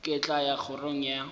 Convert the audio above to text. ke tla ya kgorong ya